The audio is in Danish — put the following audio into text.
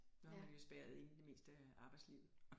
Der er man jo spærret inde det meste af arbejdslivet